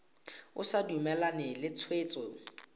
o sa dumalane le tshwetso